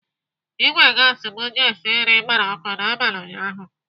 Ìgwè gasi m ji esi nri gbara ọkụ n'abalị ụnyaahụ.